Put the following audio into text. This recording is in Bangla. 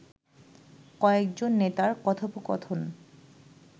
কয়েকজন নেতার কথোপকথন